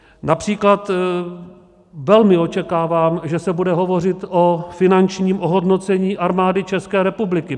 Například velmi očekávám, že se bude hovořit o finančním ohodnocení Armády České republiky.